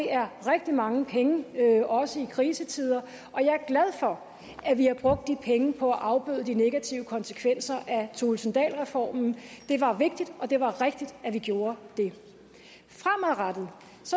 er rigtig mange penge også i krisetider og jeg er glad for at vi har brugt de penge på at afbøde de negative konsekvenser af thulesen dahl reformen det var vigtigt og det var rigtigt at vi gjorde det fremadrettet